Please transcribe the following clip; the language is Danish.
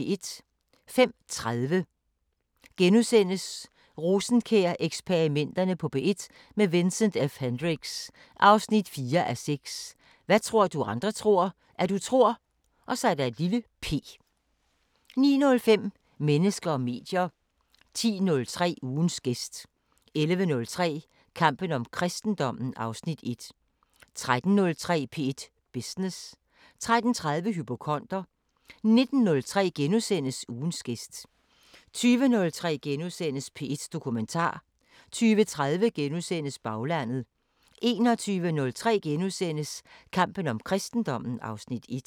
05:30: Rosenkjær-eksperimenterne på P1 – med Vincent F Hendricks: 4:6 Hvad tror du andre tror, at du tror p * 09:05: Mennesker og medier 10:03: Ugens gæst 11:03: Kampen om kristendommen (Afs. 1) 13:03: P1 Business 13:30: Hypokonder 19:03: Ugens gæst * 20:03: P1 Dokumentar * 20:30: Baglandet * 21:03: Kampen om kristendommen (Afs. 1)*